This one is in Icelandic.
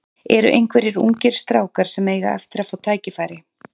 Eru einhverjir ungir strákar sem eiga eftir að fá tækifæri?